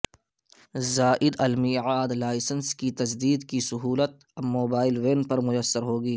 زائدالمیعاد licence کی تجدید کی سہولت اب موبائل وین پر میسر ہوگی